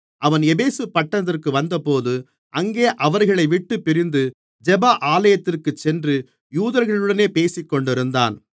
அவன் எபேசு பட்டணத்திற்கு வந்தபோது அங்கே அவர்களைவிட்டுப் பிரிந்து ஜெப ஆலயத்திற்குச் சென்று யூதர்களுடனே பேசிக்கொண்டிருந்தான்